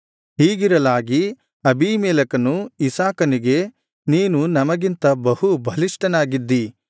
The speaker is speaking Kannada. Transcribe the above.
ಹೀಗಿರಲಾಗಿ ಅಬೀಮೆಲೆಕನು ಇಸಾಕನಿಗೆ ನೀನು ನಮಗಿಂತ ಬಹು ಬಲಿಷ್ಠನಾಗಿದ್ದೀ